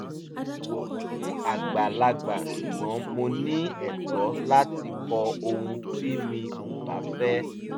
mo bọ̀wọ̀ fún àgbàlagbà ṣùgbọ́n mo ní ẹ̀tọ́ láti kọ ohun tí mi ò bá fẹ́